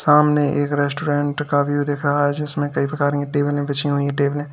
सामने एक रेस्टोरेंट का व्यू दिख रहा है जिसमें कई प्रकार की टेबलें बिछी हुई हैं टेबलें --